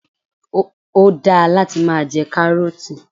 Ó da láti máa jẹ 'Káárótì '